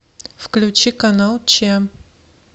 включи канал че